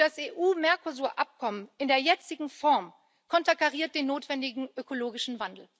Das EU Mercosur Abkommen in der jetzigen Form konterkariert den notwendigen ökologischen Wandel.